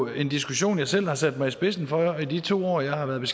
en diskussion jeg selv har sat mig i spidsen for i de to år jeg har været